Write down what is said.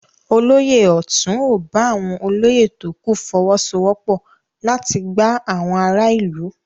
Olóyè ọ̀tún ò bá àwọn olóyè tókù fọwọ́sowọ́pọ̀ láti gbá àwon ará ìlú.